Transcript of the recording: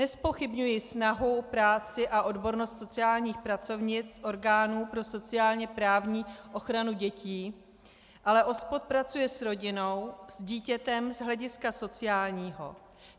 Nezpochybňuji snahu, práci a odbornost sociálních pracovnic orgánů pro sociálně-právní ochranu dětí, ale OSPOD pracuje s rodinou, s dítětem z hlediska sociálního.